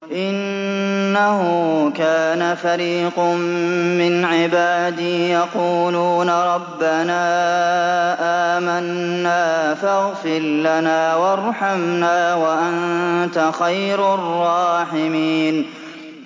إِنَّهُ كَانَ فَرِيقٌ مِّنْ عِبَادِي يَقُولُونَ رَبَّنَا آمَنَّا فَاغْفِرْ لَنَا وَارْحَمْنَا وَأَنتَ خَيْرُ الرَّاحِمِينَ